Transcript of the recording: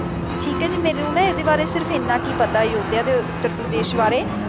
ਠੀਕ ਹੈ ਜੀ ਮੈਨੂੰ ਨਾ ਇਹਦੇ ਬਾਰੇ ਸਿਰਫ ਇਹਨਾਂ ਕ ਹੀ ਪਤਾ ਅਯੋਧਿਆ ਤੇ ਉੱਤਰ ਪ੍ਰਦੇਸ਼ ਬਾਰੇ,